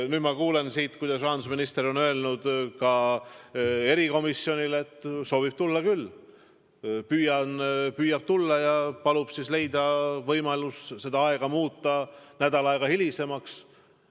Nüüd ma kuulen siit, et rahandusminister on öelnud ka erikomisjonile, et ta soovib tulla küll, et ta püüab tulla ja palub leida võimalus see aeg muuta nädal aega hilisemaks.